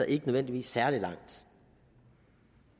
ikke nødvendigvis særlig langt